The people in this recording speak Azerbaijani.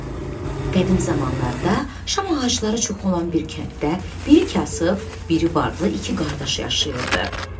Qədim zamanlarda şam ağacları çox olan bir kənddə biri kasıb, biri varlı iki qardaş yaşayırdı.